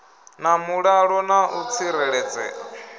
na mulalo na u tsireledzea